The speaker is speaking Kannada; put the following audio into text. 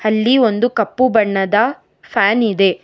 ಅಲ್ಲಿ ಒಂದು ಕಪ್ಪು ಬಣ್ಣದ ಫ್ಯಾನ್ ಇದೆ.